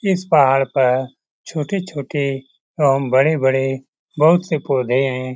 इस पहाड़ पर छोटे-छोटे और बड़े-बड़े बहुत से पौधे है।